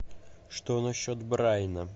что насчет брайана